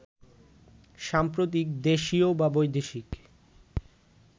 সাম্প্রতিক দেশীয় বা বৈদেশিক